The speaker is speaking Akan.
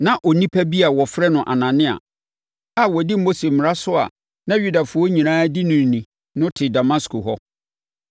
“Na Onipa bi a wɔfrɛ no Anania a ɔdi Mose mmara so a na Yudafoɔ nyinaa di no ni no te Damasko hɔ.